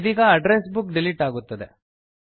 ಇದೀಗ address book delete ಆಗುತ್ತದೆ